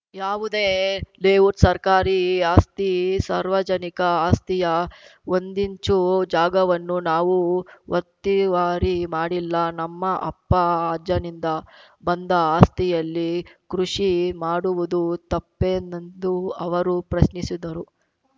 ಯಾವುದೇ ಲೇಔಟ್‌ ಸರ್ಕಾರಿ ಆಸ್ತಿ ಸಾರ್ವಜನಿಕ ಆಸ್ತಿಯ ಒಂದಿಂಚೂ ಜಾಗವನ್ನೂ ನಾವು ಒತ್ತೀವಾರಿ ಮಾಡಿಲ್ಲ ನಮ್ಮ ಅಪ್ಪ ಅಜ್ಜನಿಂದ ಬಂದ ಆಸ್ತಿಯಲ್ಲಿ ಕೃಷಿ ಮಾಡುವುದೂ ತಪ್ಪೇನೆಂದು ಅವರು ಪ್ರಶ್ನಿಸಿದರು